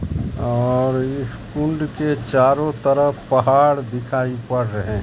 और स्कूल्ड के चारों तरफ पहाड़ दिखाई पड़ रहे--